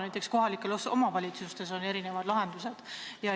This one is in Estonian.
Näiteks on kohalikes omavalitsustes erinevad lahendused.